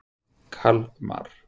Kalmar